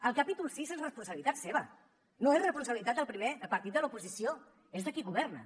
el capítol sis és responsabilitat seva no és responsabilitat del primer partit de l’oposició és de qui governa